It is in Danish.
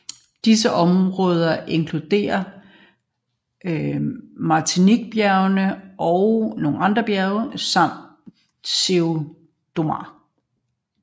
Disse områder inkluderer Mantiqueirabjergene og Espinhaçobjergene samt Serra do Mar